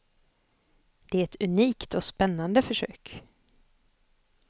Det är ett unikt och spännande försök.